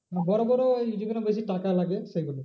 বড়ো বড়ো ওই যেইগুলো বেশি টাকা লাগে সেইগুলো।